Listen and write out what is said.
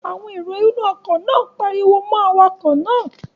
Àwọn èrò inú ọkọ̀ náà pariwo mọ́ awakọ̀ náà